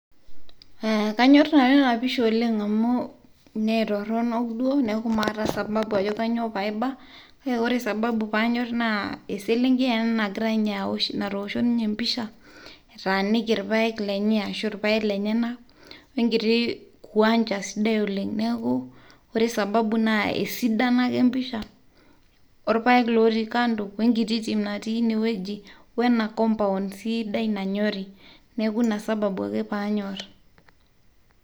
kanyor nanu ena pisha oleng' amu metoronok duo neaku mata sababu ajo kainyio paiba kake wore sababu paiba naa eselenkei ena naatosho ninye pisha nataniki ilpaek lenyenak wenkiti kiwanja sidai oleng' wore sababu naa esidano ake empisha nagira olpaek natii ine wueji wenacompound sii sidai nanyori ina sababu ake panyorr